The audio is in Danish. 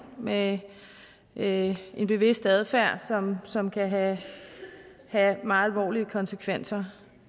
med en en bevidst adfærd som som kan have meget alvorlige konsekvenser